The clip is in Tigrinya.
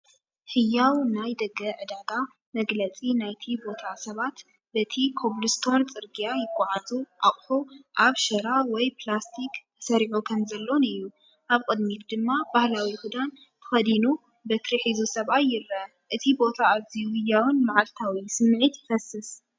ህያው ናይ ደገ ዕዳጋ ፣መግለጺ ናይቲ ቦታ ሰባት በቲ ኮብልስቶን ጽርግያ ይጓዓዙ ኣቕሑ ኣብ ሸራ ወይ ፕላስቲክ ተሰሪዑ ከምዘሎን እዩ። ኣብ ቅድሚት ድማ ባህላዊ ክዳን ተኸዲኑበትሪ ሒዙ ሰብኣይ ይርአ። እቲ ቦታ ኣዝዩ ህያውን መዓልታዊን ስምዒት ይፈስስ።